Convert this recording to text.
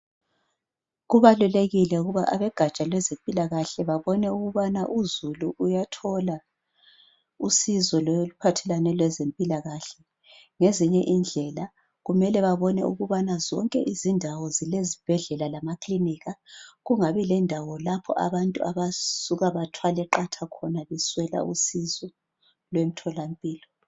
Kubalulekile ukuba abogatsha lwezempilakahle ukubana uzulu uyathola usizo oluphathelane lezempilakahle ngezinye indlela kumele babone ukubana zonke izindawo zilezibhedlela lamakilinika kungabi lendawo lapho abantu abasuka bathwale qatha khona beswela usizo